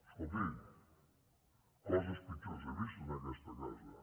escolti coses pitjors he vist en aquesta casa